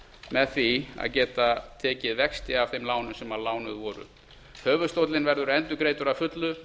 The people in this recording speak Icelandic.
með því að geta tekið vexti af þeim lánum sem lánuð voru höfuðstóllinn verður endurgreiddur að fullu